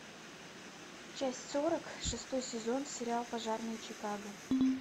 часть сорок шестой сезон сериал пожарные чикаго